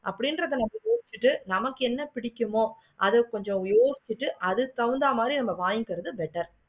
அப்படின்றதா யோசிச்சிட்டு நமக்கு என்ன பிடிக்குமோ அத கொஞ்சம் யோசிச்சிட்டு அதுக்கு தகுந்த மாதிரி நம்ம வாங்கி கிறது better